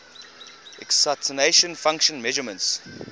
excitation function measurements